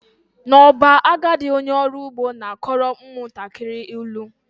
N'ọba, agadi onye ọrụ ugbo na-akọrọ ụmụntakịrị ilu